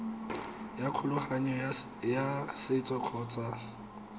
ya kgolagano ya setso kgotsa